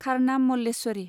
खारनाम Malleswari